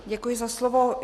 Děkuji za slovo.